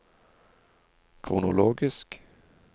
kronologisk